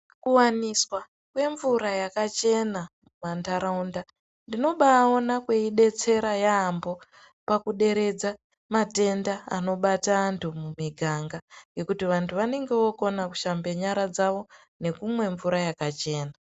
Kuwaniswa kwemvura yakachena pandaraunda ndinobaona kweidetsera yambo pakuderedza matenda ano Bata antu mumiganga nekuti vantu vanenge vokona kuhamba nyara dzawo nekumwa mvura yakachena.